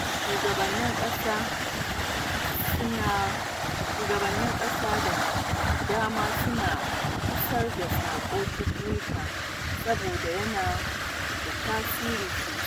Shugabannin ƙasa da dama suna isar da sako ta Twitter saboda yana da tasiri sosai.